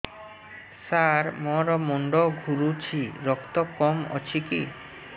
ସାର ମୋର ମୁଣ୍ଡ ଘୁରୁଛି ରକ୍ତ କମ ଅଛି କି